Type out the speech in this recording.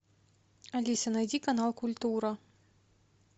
алиса найди канал культура